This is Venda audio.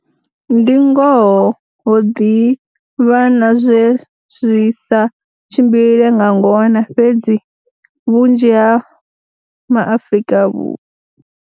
Ndi ngoho ho ḓi vha na zwe zwi sa tshimbile nga ngona, fhedzi vhunzhi ha ma Afrika.